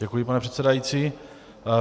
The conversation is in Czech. Děkuji, pane předsedající.